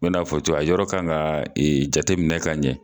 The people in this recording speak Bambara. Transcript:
yɔrɔ kan ka jate minɛ ka ɲɛ.